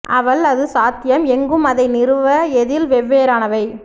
அவள் அது சாத்தியம் எங்கும் அதை நிறுவ எதில் வெவ்வேறானவை